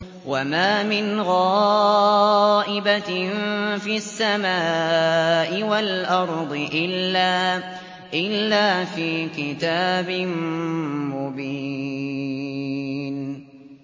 وَمَا مِنْ غَائِبَةٍ فِي السَّمَاءِ وَالْأَرْضِ إِلَّا فِي كِتَابٍ مُّبِينٍ